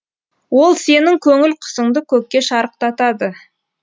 ол сенің көңіл құсыңды көкке шарықтатады